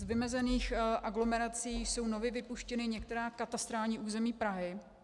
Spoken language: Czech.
Z vymezených aglomerací jsou nově vypuštěna některá katastrální území Prahy.